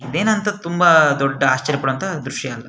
ಇದೇನ್ ಅಂತ ತುಂಬಾ ದೊಡ್ಡ ಆಶ್ಚರ್ಯ ಪಡೋಅಂತ ದ್ರಶ್ಯ ಅಲ್ಲ.